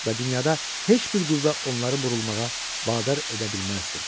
Və dünyada heç bir qüvvə onları burulmağa vadar edə bilməzdi.